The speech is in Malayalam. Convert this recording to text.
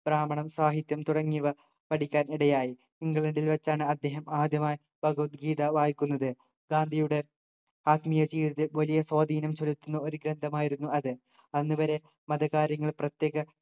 ബ്രാഹ്മണം സാഹിത്യം തുടങ്ങിയവ പഠിക്കാൻ ഇടയായി ഇംഗ്ലണ്ടിൽ വച്ചാണ് അദ്ദേഹം ആദ്യമായി ഭഗവത്ഗീത വായിക്കുന്നത് ഗാന്ധിയുടെ ആത്മീയ ജീവിത വലിയ സ്വാധീനം ചെലുത്തുന്ന ഒരു ഗ്രന്ഥമായിരുന്നു അത് അന്നുവരെ മതകാര്യങ്ങൾ പ്രത്യേക